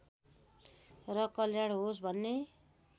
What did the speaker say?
र कल्याण होस् भन्ने